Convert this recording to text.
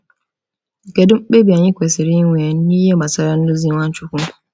Kedu mkpebi anyị kwesịrị inwe n’ihe gbasara nduzi Nwachukwu?